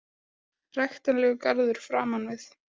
Ræktarlegur garður framan við.